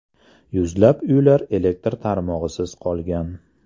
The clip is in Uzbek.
Yuzlab uylar elektr tarmog‘isiz qolgan.